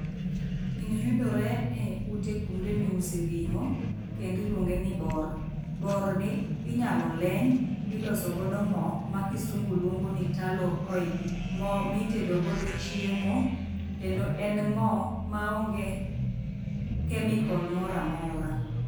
Gini yudore eute kuonde miuse ring'o kendo iluongeni bor. Borni inyalo leny miloso godo moo ma kisungu luongoni talo oil. Moo mitedo godo chiemo kendo en moo maonge chemical moro amora.